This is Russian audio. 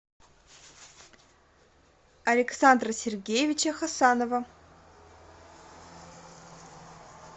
александра сергеевича хасанова